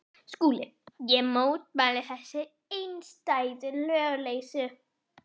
SKÚLI: Ég mótmæli þessari einstæðu lögleysu.